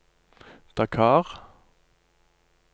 Dakar